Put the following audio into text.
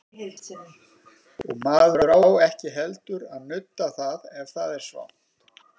Og maður á ekki heldur að nudda það ef það er svangt.